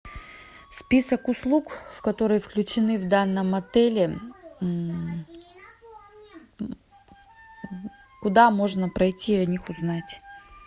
список услуг которые включены в данном отеле куда можно пройти о них узнать